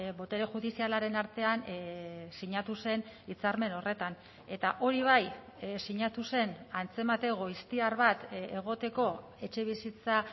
botere judizialaren artean sinatu zen hitzarmen horretan eta hori bai sinatu zen antzemate goiztiar bat egoteko etxebizitza